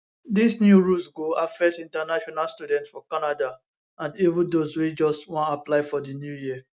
dis new rules go affect international students for canada and even dose wey just wan apply for di new year